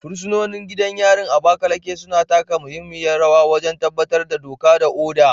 Fursunoni a gidan yarin Abakaleke, suna taka muhimmiyar rawa wajen tabbatar da doka da oda.